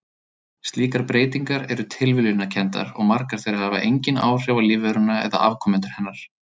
Slíkar breytingar eru tilviljunarkenndar og margar þeirra hafa engin áhrif á lífveruna eða afkomendur hennar.